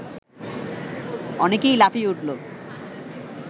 অনেকেই লাফিয়ে উঠল